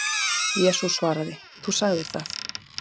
Jesús svaraði: Þú sagðir það